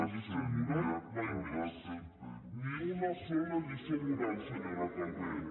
lliçó moral mai més ni una sola lliçó moral senyora calvet